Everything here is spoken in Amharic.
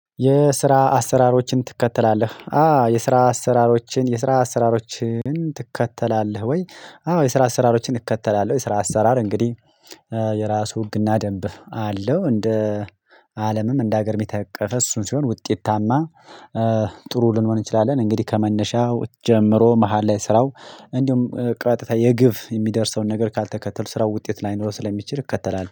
የስራ አሰራሮችን ትከተላለህ? አዎ የስራ አሰራሮችን የስራ አሰራሮችን ትከተላለህ ወይ? አዎ የስራ አሰራሮችን እከተላለሁ የስራ አሰራር እንግዲህ የራሱ ህግና ደንብ አለው እንደ አለምም እንደ ሀገር የሚተቀፈ እሱን ሲሆን ውጤታማ ጥሩ ልንሆን እንችላለን እንግዲህ ከመነሻው ጀምሮ መሃል ላይ ስራው እንዲሁም ቀጥታ የግብ የሚደርሰውን ነገር ካልተከተሉ ስራው ውጤት ላይ ኖሮ ስለሚችል እከተላል